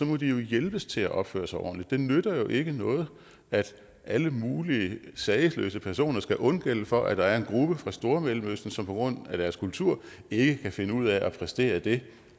må de jo hjælpes til at opføre sig ordentligt det nytter jo ikke noget at alle mulige sagesløse personer skal undgælde for at der er en gruppe fra stormellemøsten som på grund af deres kultur ikke kan finde ud af at præstere det